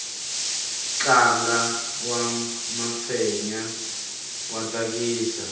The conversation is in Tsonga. ntlangu wa mafenya wa tsakisa